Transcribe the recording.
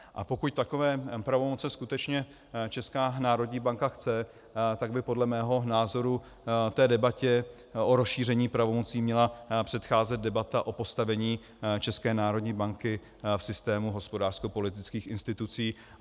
A pokud takové pravomoce skutečně Česká národní banka chce, tak by podle mého názoru té debatě o rozšíření pravomocí měla předcházet debata o postavení České národní banky v systému hospodářskopolitických institucí.